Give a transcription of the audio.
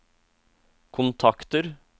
kontakter